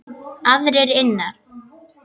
Aðrir innan